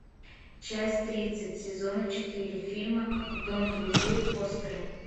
часть тридцать сезона четыре фильма дом друзей фостера